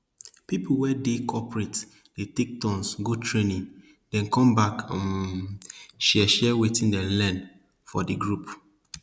people wey dey cooperate dey take turns go training den come back um share share wetin dem learn for di group